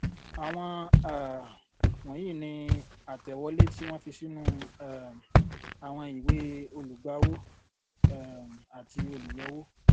àwọn um wònyíi ni àtẹwọlé tí wón fi sínú um àwọn ìwée olùgbàwó um àti olùyọwó